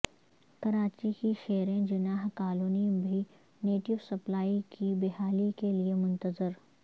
کراچی کی شیریں جناح کالونی بھی NATO supply کی بحالی کے لئے منتظر